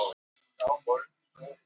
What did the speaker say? Svar nasismans við gyðingnum gangandi!